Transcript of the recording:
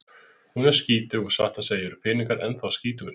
Hún er skítug og satt að segja eru peningar ennþá skítugri.